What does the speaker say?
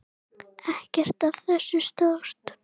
Ekkert af þessu stóðst.